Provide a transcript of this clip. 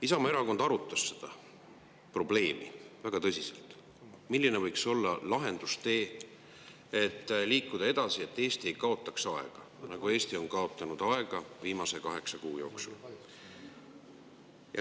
Isamaa Erakond arutas väga tõsiselt, milline võiks olla lahendustee, et liikuda edasi, et Eesti ei kaotaks enam aega, nagu ta on kaotanud aega viimase kaheksa kuu jooksul.